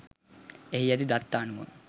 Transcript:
එහි ඇති දත්ත අනුව